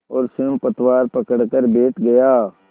और स्वयं पतवार पकड़कर बैठ गया